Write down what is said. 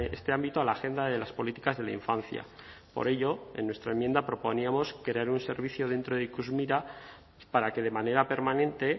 este ámbito a la agenda de las políticas de la infancia por ello en nuestra enmienda proponíamos crear un servicio dentro de ikusmira para que de manera permanente